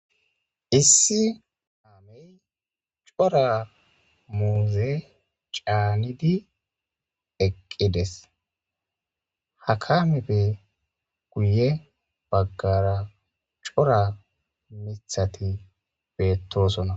Issi Kamey cora muuze caanidi eqqides hakamebe guye baggara cora mithati beettosona.